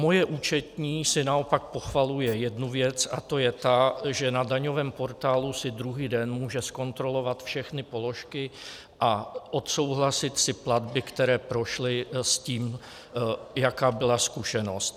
Moje účetní si naopak pochvaluje jednu věc, a to je ta, že na daňovém portálu si druhý den může zkontrolovat všechny položky a odsouhlasit si platby, které prošly, s tím, jaká byla zkušenost.